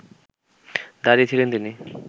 দাঁড়িয়ে ছিলেন তিনি